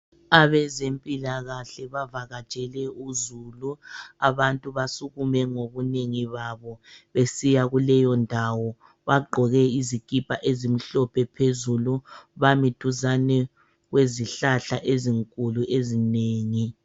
AbazeMpilakahle bavakatshele uZulu, abantu basukume ngobunengi babo besiya kwileyondawo. Bagqoke izikipa ezimhlophe phezulu bami duzane kwezihlahla ezinkulu ezinengi.